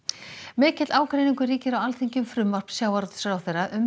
mikill ágreiningur ríkir á Alþingi um frumvarp sjávarútvegsráðherra um